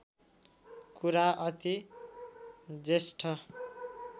कुरा अति ज्येष्ठ